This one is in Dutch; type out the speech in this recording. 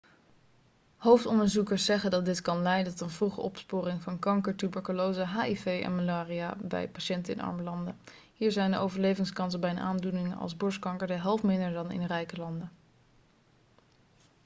hoofdonderzoekers zeggen dat dit kan leiden tot een vroege opsporing van kanker tuberculose hiv en malaria bij patiënten in arme landen hier zijn de overlevingskansen bij een aandoening als borstkanker de helft minder dan in rijke landen